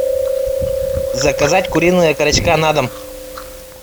заказать куриные окорочка на дом